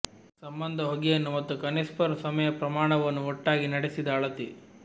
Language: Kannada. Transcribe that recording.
ಸಂಬಂಧ ಹೊಗೆಯನ್ನು ಮತ್ತು ಕನ್ಪೆಸ್ಸರ್ ಸಮಯ ಪ್ರಮಾಣವನ್ನು ಒಟ್ಟಾಗಿ ನಡೆಸಿದ ಅಳತೆ